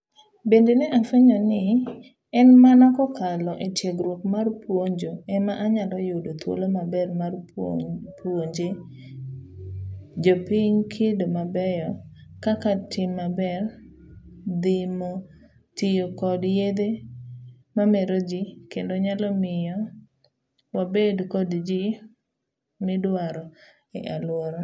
Bende ne afuenyo ni en mana kokalo etiegruok mar puonjo ema anyalo yudo thuolo maber mar puonjee jopiny kido mabeyo kaka tim maber, dhimo tiyo kod yedhe mameroji, kendo nyalo miyo wabed kod ji midwaro e aluora.